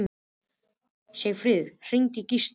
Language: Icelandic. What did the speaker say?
Sigfríð, hringdu í Gíslalínu.